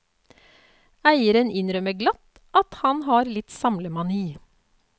Eieren innrømmer glatt at han har litt samlemani.